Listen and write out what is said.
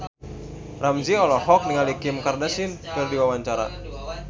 Ramzy olohok ningali Kim Kardashian keur diwawancara